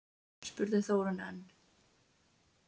spurði Þórunn enn.